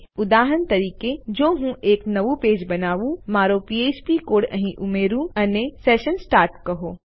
તેથી ઉદાહરણ તરીકે જો હું એક નવું પેજ બનાવું મારો ફ્ફ્પ કોડ અહીં ઉમેરૂ અને સેશન સ્ટાર્ટ કહો